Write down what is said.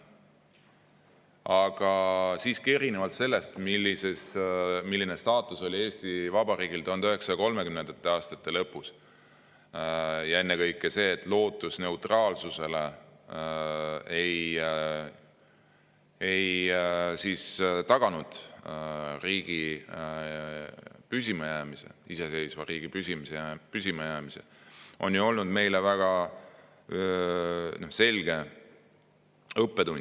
Aga siiski, erinevalt sellest, milline staatus oli Eesti Vabariigil 1930. aastate lõpus, ennekõike see, et lootus neutraalsusele ei taganud iseseisva riigi püsimajäämist, on ju olnud meile väga selge õppetund.